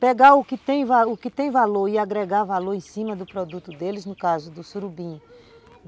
pegar o que tem o que tem valor e agregar valor em cima do produto deles, no caso do surubim.